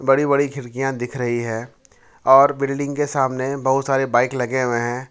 बड़ी बड़ी खिड़कियां दिख रही है और बिल्डिंग के सामने बहुत सारे बाइक लगे हुए हैं।